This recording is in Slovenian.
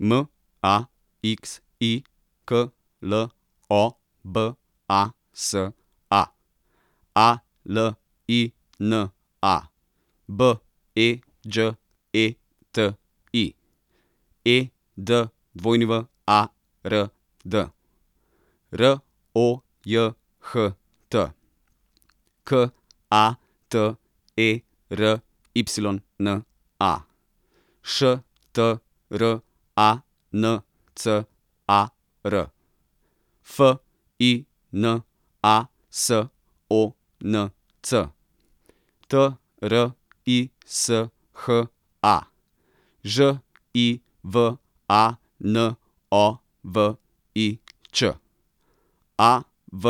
M A X I, K L O B A S A; A L I N A, B E Đ E T I; E D W A R D, R O J H T; K A T E R Y N A, Š T R A N C A R; F I N A, S O N C; T R I S H A, Ž I V A N O V I Ć; A V